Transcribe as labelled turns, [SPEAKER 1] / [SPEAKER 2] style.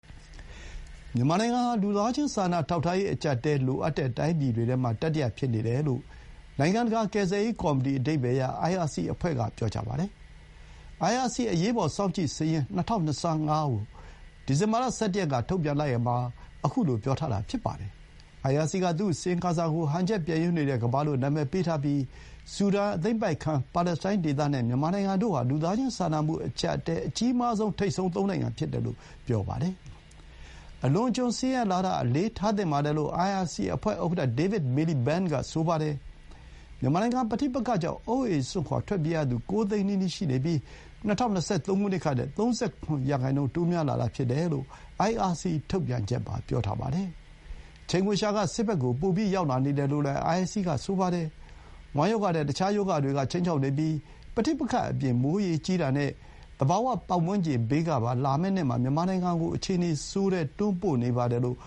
[SPEAKER 1] မြန်မာနိုင်ငံဟာ လူသားချင်းစာနာထောက်ထားရေး အကျပ်အတည်း လိုအပ်တဲ့ တိုင်းပြည်တွေထဲမှာ တတိယ ဖြစ်နေတယ်လို့ နိုင်ငံတကာ ကယ်ဆယ်ရေး ကော်မတီ အဓိပ္ပါယ်ရ အိုင်အာစီ အဖွဲ့က ပြောပါတယ်။ အိုင်အာစီ အရေးပေါ် စောင့်ကြည့်စာရင်း ၂၀၂၅ ကို ဒီဇင်ဘာလ ၁၁ ရက်က ထုတ်ပြန်လိုက်ရာမှာ အခုလို ပြောထားတာ ဖြစ်ပါတယ်။ အိုင်အာစီက သူ့အစီရင်ခံစာ ကို ဟန်ချက်ပျက်ယွင်းနေတဲ့ ကမ္ဘာလို့ နာမည်ပေးထားပြီး၊ ဆူဒန်၊ အသိမ်းပိုက်ခံ ပါလက်စတိုင်းဒေသ နဲ့ မြန်မာနိုင်ငံတို့ ဟာ လူသားချင်းစာနာမှု အကျပ်အတည်း အကြီးမားဆုံး ထိပ်ဆုံး ၃ နိုင်ငံဖြစ်တယ်လို့ ပြောပါတယ်။ အလွန်အကျွံ ဆင်းရဲလာတာ အလေးထားသင့်ပါတယ်လို့ အိုင်အာစီ အဖွဲ့ ဥက္ကဋ္ဌ David Miliband က ဆိုပါတယ်။ မြန်မာနိုင်ငံ ပဋိပက္ခကြောင့် အိုးအိမ်စွန့်ခွါ ထွက်ပြေးရသူ ၉ သိန်းနီးပါး ရှိနေပြီး၊ ၂၀၂၃ ခုနှစ်ကထက် ၃၇ ရာနှုန်း တိုးများလာတာ ဖြစ်တယ်လို့ အိုင်အာစီ ထုတ်ပြန်ချက်မှာ ပြောထားပါတယ်။ ချိန်ခွင်လျှာက စစ်ဘက်ကို ပို‌ ရောက်လာနေတယ် လို့လည်း အိုင်အာစီက ဆိုပါတယ်။ ဝမ်းရောဂါ နဲ့ တခြား ရောဂါတွေက ခြိမ်းခြောက်နေပြီး၊ ပဋိပက္ခအပြင် မိုးရေကြီးတာနဲ့ သဘာဝ ပတ်ဝန်းကျင်ဘေးကပါ လာမယ့်နှစ်မှာ မြန်မာနိုင်ငံကို အခြေအနေဆိုးထဲ တွန်းပို့နေတယ်လို့